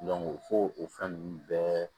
fo o fɛn nunnu bɛɛ